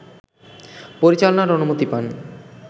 পরিচালনার অনুমতি পান